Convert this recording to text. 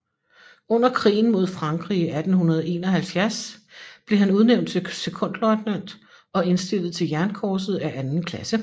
Under krigen mod Frankrig i 1871 blev han udnævnt til sekondløjtnant og indstillet til jernkorset af anden klasse